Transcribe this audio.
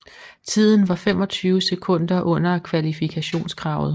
Tiden var 25 sekunder under kvalifikationskravet